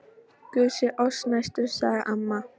Guð sé oss næstur sagði amma.